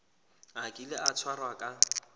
a kile a tshwarwa ka